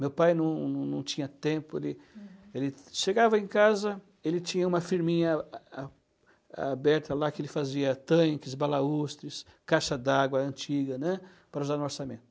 Meu pai não não não tinha tempo, ele ele chegava em casa, ele tinha uma firminha a a aberta lá que ele fazia tanques, balaústres, caixa d'água antiga, né, para usar no orçamento.